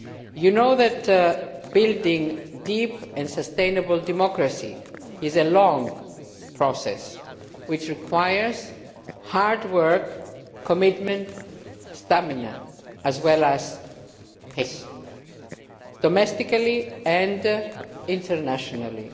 You know that building deep and sustainable democracy is a long process which requires hard work, commitment and stamina as well as patience domestically and internationally.